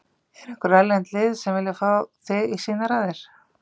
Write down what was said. Eru einhver erlend lið sem vilja fá þig í sínar raðir?